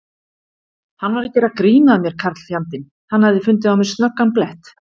Hann var að gera grín að mér karlfjandinn, hann hafði fundið á mér snöggan blett.